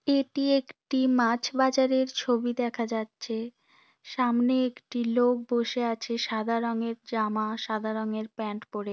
এটি একটি মাছ বাজারের ছবি দেখা যাচ্ছে। সামনে একটি লোক বসে আছে সাদা রঙের জামা সাদা রঙের প্যান্ট পড়ে।